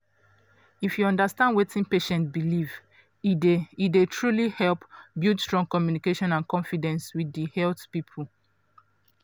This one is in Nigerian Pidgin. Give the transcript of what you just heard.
if you understand wetin patient believe e dey e dey truly help build strong communication and confidence with di health people.